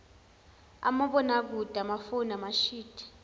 omabonakude amafoni amashidi